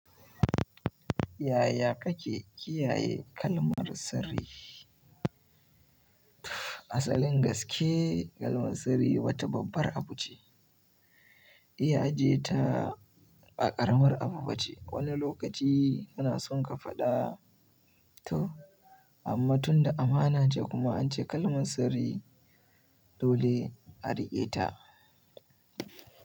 Yaya kake kiyaye kalmar sirri? Asalin gaske kalmar sirri wata babbar abu ce. Iya aje ta a ƙaramar abu ba ce. Wani lokaci kana son ka faɗa to amma tunda amana ce kuma an ce kalmar sirri dole a riƙe ta.